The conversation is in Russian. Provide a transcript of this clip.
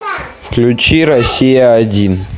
включи россия один